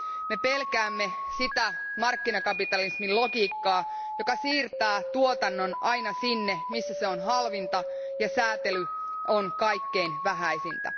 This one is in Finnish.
Me pelkäämme sitä markkinakapitalismin logiikkaa, joka siirtää tuotannon aina sinne, missä se on halvinta ja sääntely on kaikkein vähäisintä.